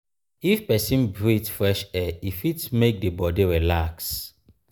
if persin breath fresh air e fit make di bodi relax